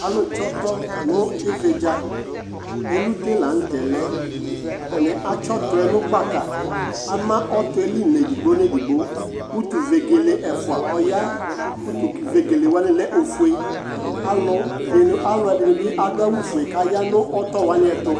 alò tsi ɔtɔ no ividza elute lantɛ lɛ atani atsi ɔtɔ yɛ no gbaka ama ɔtɔ yɛ li n'edigbo n'edigbo utu vegele ɛfua ɔya utu vegele wani lɛ ofue alò di ni alò ɛdini bi adu awu fue k'aya n'ɔtɔ wani ɛto